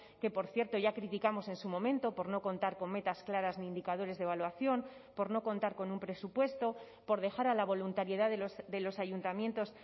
que por cierto ya criticamos en su momento por no contar con metas claras de indicadores de evaluación por no contar con un presupuesto por dejar a la voluntariedad de los ayuntamientos